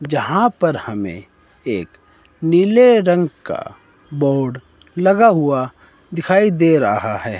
जहां पर हमे एक नीले रंग का बोर्ड लगा हुआ दिखाई दे रहा है।